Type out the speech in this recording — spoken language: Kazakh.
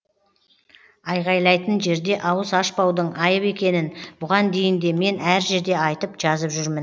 айғайлайтын жерде ауыз ашпаудың айып екенін бұған дейін де мен әр жерде айтып жазып жүрмін